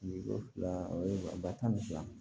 O fila o ye ba tan ni fila ye